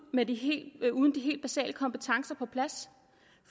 uden de helt basale kompetencer på plads